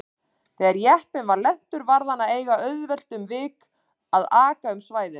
Þegar jeppinn var lentur varð hann að eiga auðvelt um vik að aka um svæðið.